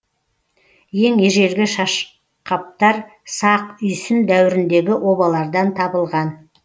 ең ежелгі шашқаптар сақ үйсін дәуіріндегі обалардан табылған